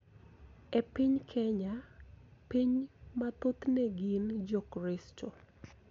E piny Kenya, piny ma thothne gin Jokristo,